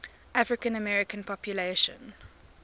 african american population